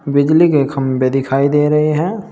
बिजली के खंभे दिखाई दे रहे हैं।